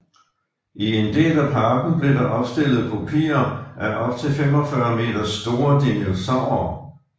I en del af parken blev der opstillet kopier af op til 45 meter store dinosaurere